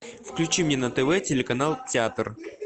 включи мне на тв телеканал театр